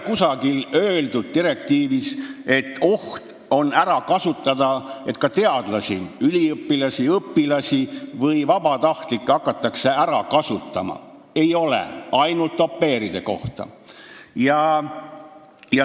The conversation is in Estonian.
Kusagil direktiivis ei ole öeldud, et ka teadlasi, üliõpilasi, õpilasi või vabatahtlikke hakatakse ära kasutama, et on selline oht, räägitakse ainult au pair'idest.